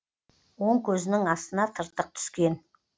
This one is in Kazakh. оң көзінің астына тыртық түскен